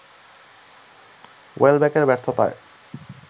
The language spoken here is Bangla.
ওয়েলব্যকের ব্যর্থতায়